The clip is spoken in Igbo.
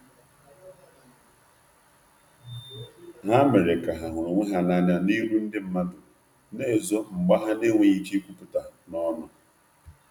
Ha mere ka ha huru onwe ha na anya n'iru ndi madu na ezo mgba ha n enweghi ike ikwuputa n'onu